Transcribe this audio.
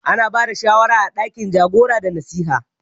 Ana bada shawara a ɗakin jagora da nasiha.